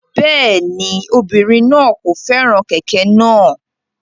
Rárá, obirin naa kò fẹ́ràn kẹ̀kẹ́ náà.